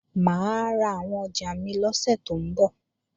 Mà á ra àwọn ọjà mi lọ́sẹ̀ tó ń bọ̀